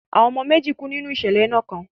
Àwọn ọmọ méjì nínú ìṣẹ̀lẹ̀ iná kan.